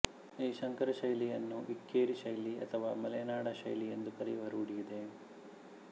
ಈ ಸಂಕರಶೈಲಿಯನ್ನು ಇಕ್ಕೇರಿ ಶೈಲಿ ಅಥವಾ ಮಲೆನಾಡು ಶೈಲಿಯೆಂದು ಕರೆಯುವ ರೂಢಿಯಿದೆ